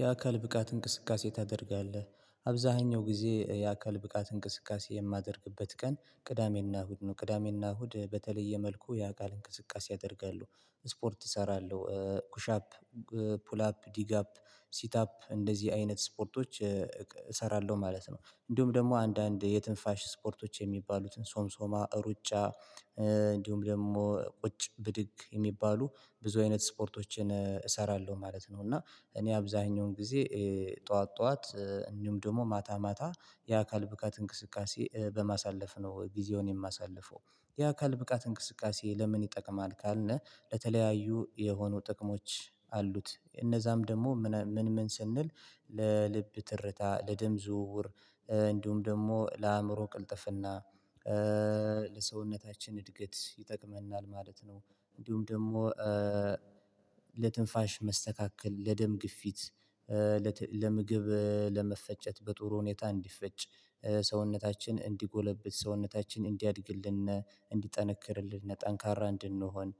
የአካል ብቃት እንቅስቃሴ ታደርጋለህ አብዛኛው ጊዜ የአካል ብቃት እንቅስቃሴ የማደርግበት ቀን ቅዳሜና እሁድ ነው ቅዳሜና እሁድ በተለየ መልኩ ያ ቃል እንቅስቃሴ ያደርጋሉ ስፖርት እሰራለሁ ኩሻፕ ፑል አፕ ዲግ አፕ ሲት አፕ እንደዚህ አይነት ስፖርቶች እሰራለሁ ማለት ነው እንዲሁም ደግሞ አንዳንድ የትንፋሽ ስፖርቶች የሚባሉትን ሶምሶማ ሩጫ እንዲሁም ደግሞ ቁጭ ብድግ የሚባሉ ብዙ አይነት ስፖርቶችን እሰራለሁ ማለት ነው እና እኔ አብዛኛውን ጊዜ ጠዋት ጠዋት እንዲሁም ደግሞ ማታ ማታ የአካል ብቃት እንቅስቃሴ በማሳለፍ ነው ጊዜውን የማሳልፈው የአካል ብቃት እንቅስቃሴ ለምን ይጠቅማል ካልነ ለተለያዩ የሆኑ ጥቅሞች አሉት እነዛም ደግሞ ምን ምን ስንል ለልብ ትርታ ለድም ዝውውር እንዲሁም ደግሞ ለአእምሮ ቅልጥፍና ለሰውነታችን እድገት ይጠቅመናል ማለት ነው እንዲሁም ደግሞ ለትንፋሽ መስተካከል ለደም ግፊት ለምግብ ለመፈጨት በጥሩ ሁኔታ እንዲፈጭ ሰውነታችን እንዲጎለብት ሰውነታችን እንዲያድግልን እንዲጠነክርልን ጠንካራ እንድንሆን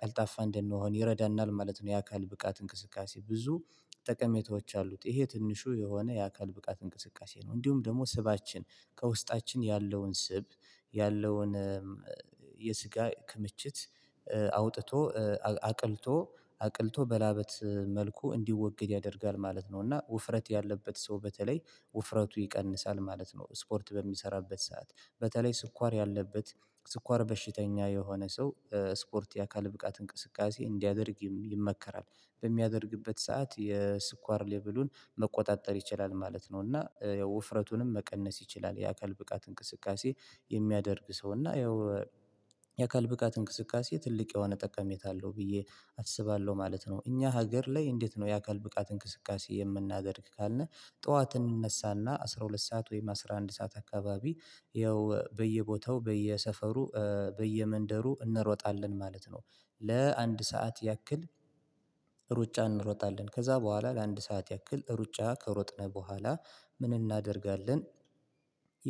ቀልጣፋ እንድንሆን ይረዳናል ማለት ነው የአካል ብቃት እንቅስቃሴ ብዙ ጠቀሜቶች አሉት ይሄ ትንሹ የሆነ የአካል ብቃት እንቅስቃሴ ነው እንዲሁም ደግሞ ስባችን ከውስጣችን ያለውን ስብ ያለውን የስጋ ክምችት አውጥቶ አቅልቶ አቅልቶ በላበት መልኩ እንዲወግድ ያደርጋል ማለት ነው እና ውፍረት ያለበት ሰው በተለይ ውፍረቱ ይቀንሳል ማለት ነው ስፖርት በሚሰራበት ሰዓት በተለይ ስኳር ያለበት ስኳር በሽተኛ የሆነ ሰው ስፖርት የአካል ብቃት እንቅስቃሴ እንዲያደርግም ይመከራል በሚያደርግበት ሰዓት የስኳር ሌብሉን መቆጣጠር ይችላል ማለት ነው እና የውፍረቱንም መቀነስ ይችላል የአካል ብቃት እንቅስቃሴ የሚያደርግ ሰው እና ያው የአካል ብቃት እንቅስቃሴ ትልቅ የሆነ ጠቀሜታ አለው ብዬ አስባለሁ ማለት ነው እኛ ሀገር ላይ እንዴት ነው የአካል ብቃት እንቅስቃሴ የምናደርግ ካልን ጠዋት እንነሳና አስራ ሁለት ሰዓት ወይም አስራ አንድ ሰዓት አካባቢ ይኸው ያው በየቦታው በየሰፈሩ በየመንደሩ እንሮጣለን ማለት ነው ለአንድ ሰዓት ያክል ሩጫ እንሮጣለን ከዛ በኋላ ለአንድ ሰዓት ያክል ሩጫ ከሮጥነህ በኋላ ምን እናደርጋለን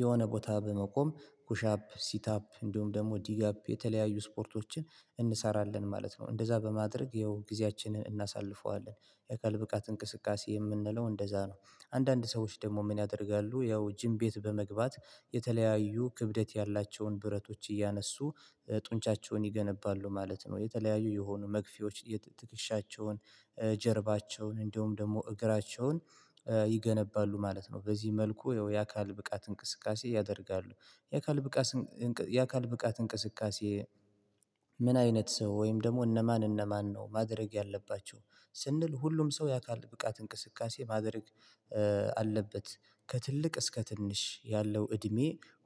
የሆነ ቦታ በመቆም ኩሻፕ ሲትአፕ እንዲሁም ደግሞ ዲጋፕ የተለያዩ ስፖርቶችን እንሰራለን ማለት ነው እንደዛ በማድረግ ይኸው ጊዜያችንን እናሳልፈዋለን የአካል ብቃት እንቅስቃሴ የምንለው እንደዛ ነው አንዳንድ ሰዎች ደግሞ ምን ያደርጋሉ ያው ጂም ቤት በመግባት የተለያዩ ክብደት ያላቸውን ብረቶች እያነሱ ጡንቻቸውን ይገነባሉ ማለት ነው የተለያዩ የሆኑ መግፊያዎች የትክክሻቸውን ጀርባቸውን እንደውም ደግሞ እግራቸውን ይገነባሉ ማለት ነው በዚህ መልኩ ያው የአካል ብቃት እንቅስቃሴ ያደርጋሉ የአካል ብቃት የአካል ብቃት እንቅስቃሴ ምን አይነት ሰው ወይም ደግሞ እነማን እነማን ነው ማድረግ ያለባቸው ስንል ሁሉም ሰው ያካል ብቃት እንቅስቃሴ ማድረግ አለበት ከትልቅ እስከ ትንሽ ያለው እድሜ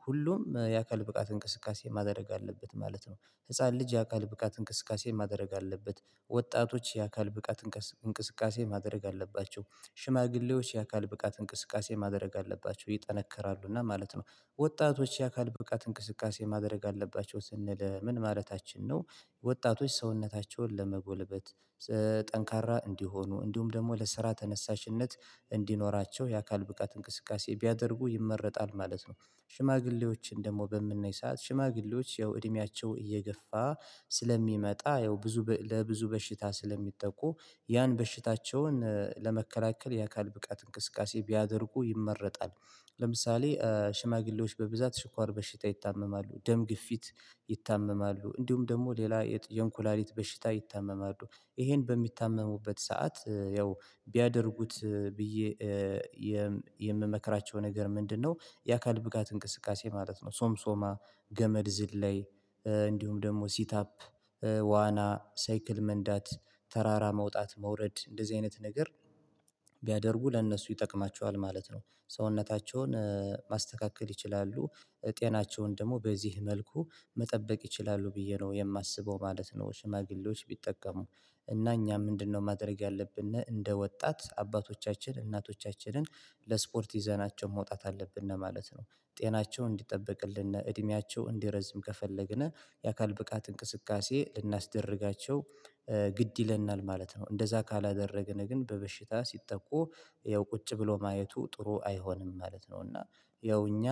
ሁሉም የአካል ብቃት እንቅስቃሴ ማድረግ አለበት ማለት ነው ህፃን ልጅ የአካል ብቃት እንቅስቃሴ ማድረግ አለበት ወጣቶች የአካል ብቃት እንቅስቃሴ ማድረግ አለባቸው ሽማግሌዎች የአካል ብቃት እንቅስቃሴ ማድረግ አለባቸው ይጠነከራሉና ማለት ነው ወጣቶች የአካል ብቃት እንቅስቃሴ ማድረግ አለባቸው ስንል ምን ማለታችን ነው ወጣቶች ሰውነታቸውን ለመጎልበት ስለሚሰጥ ጠንካራ እንዲሆኑ እንዲሁም ደግሞ ለስራ ተነሳሽነት እንዲኖራቸው የአካል ብቃት እንቅስቃሴ ቢያደርጉ ይመረጣል ማለት ነው ሽማግሌዎችን ደግሞ በምንነይ ሰዓት ሽማግሌዎች ያው እድሜያቸው እየገፋ ስለሚመጣ ያው ብዙ ለብዙ በሽታ ስለሚጠቁ ያን በሽታቸውን ለመከላከል የአካል ብቃት እንቅስቃሴ ቢያደርጉ ይመረጣል፣ ለምሳሌ ሽማግሌዎች በብዛት ስኳር በሽታ ይታመማሉ ደም ግፊት ይታመማሉ እንዲሁም ደግሞ ሌላ የኩላሊት በሽታ ይታመማሉ ይሄን በሚታመሙበት ሰዓት ያው ቢያደርጉት ብዬ የምመክራቸው ነገር ምንድነው የአካል ብቃት እንቅስቃሴ ማለት ነው ሶምሶማ፤ ገመድ ዝላይ፤ እንዲሁም ደግሞ ሲት አፕ ዋና፤ ሳይክል መንዳት፤ ተራራ መውጣት መውረድ እንደዚህ አይነት ነገር፣ ቢያደርጉ ለእነሱ ይጠቅማቸዋል ማለት ነው። ሰውነታቸውን ማስተካከል ይችላሉ። ጤናቸውን ደግሞ በዚህ መልኩ መጠበቅ ይችላሉ፣ ብዬ ነው የማስበው ማለት ነው ሽማግሌዎች ቢጠቀሙ እና እኛ ምንድነው ማድረግ ያለብን እንደ ወጣት አባቶቻችን እናቶቻችንን ለስፖርት ይዘናቸው መውጣት አለብን ማለት ነውደ ጤናቸው እንዲጠበቅልን፤ እድሜያቸው እንዲረዝም ከፈለግን የአካል ብቃት እንቅስቃሴ ልናስደርጋቸው ግድ ይለናል ማለት ነው። እንደዛ ካላደረገን ግን በበሽታ ሲጠቁ ያው ቁጭ ብሎ ማየቱ ጥሩ አይሆንም ማለት ነው። እና ያው እኛ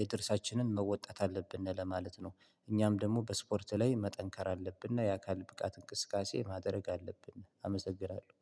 የድርሻችንን መወጣት አለብን ለማለት ነው። እኛም ደግሞ በስፖርት ላይ መጠንከር አለብንና የአካል ብቃት እንቅስቃሴ ማድረግ አለብን አመሰግናለሁ